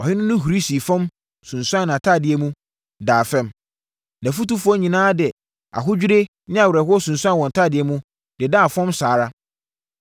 Ɔhene no huri sii fam, sunsuanee nʼatadeɛ mu, daa fam. Nʼafotufoɔ nyinaa de ahodwirie ne awerɛhoɔ sunsuanee wɔn ntadeɛ mu, dedaa fam saa ara.